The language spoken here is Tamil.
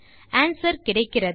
ஆன்ஸ்வெர் கிடைக்கிறது